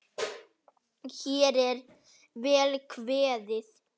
Hér er vel kveðið!